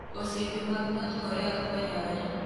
Osiepe mag North Korea Fwenyore